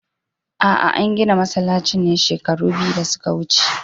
A'a, an gina masallacin ne shekaru biyu da suka wuce.